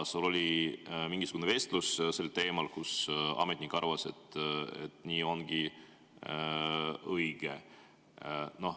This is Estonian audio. Sul oli ka mingisugune vestlus sel teemal ametnikuga, kes arvas, et nii ongi õige.